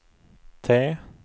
T